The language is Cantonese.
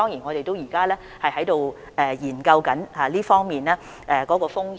我們現時正在研究這方面的風險。